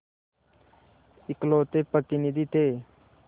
इकलौते प्रतिनिधि थे